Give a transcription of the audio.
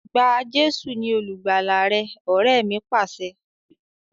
Gba Jésù ni olùgbàlà rẹ! Ọrẹ mi Pàṣẹ.